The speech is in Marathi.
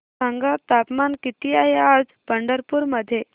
सांगा तापमान किती आहे आज पंढरपूर मध्ये